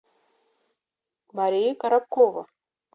марию коробкову